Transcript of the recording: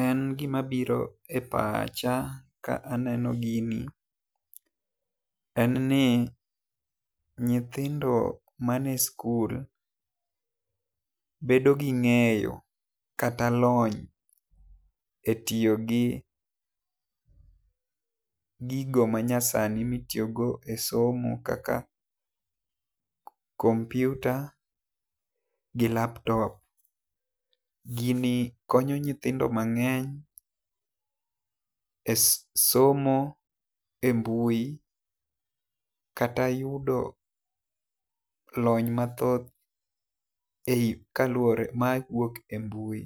En gi ma biro e pacha ka aneno gini en ni nyithindio man e skul bedo gi ng'eyo kata lony e tiyo gi gigi ma nyasani mi itiyo go e simo kaka kompyuta gi laptop. Gini konyo nyithindo mang'eny e somo e mbui kata yudo lony ma thoth e i kaluore ma wuok e mbui.